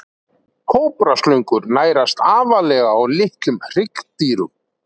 Kóbraslöngur nærast aðallega á litlum hryggdýrum.